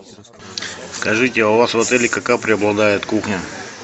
скажите а у вас в отеле какая преобладает кухня